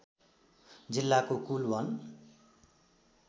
जिल्लाको कुल वन